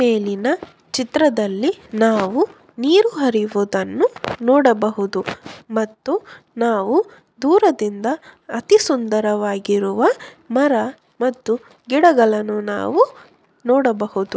ಈ ಮೇಲಿನ ಚಿತ್ರದಲ್ಲಿ ನಾವು ನೀರು ಹರಿಯುವುದನ್ನು ನೋಡಬಹುದು. ಮತ್ತು ನಾವು ದೂರದಿಂದ ಅತಿ ಸುಂದರವಾಗಿರುವ ಮರ ಮತ್ತು ಗಿಡಗಳನ್ನು ನಾವು ನೋಡಬಹುದು.